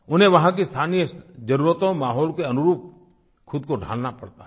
उन्हें वहाँ की स्थानीय जरूरतों माहौल के अनुरूप खुद को ढालना पड़ता है